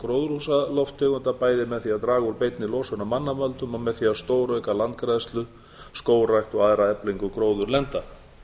gróðurhúsalofttegunda bæði með því að draga úr beinni losun af mannavöldum og með því að stórauka landgræðslu skógrækt og aðra eflingu gróðurlenda